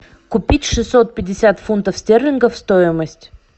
купить шестьсот пятьдесят фунтов стерлингов стоимость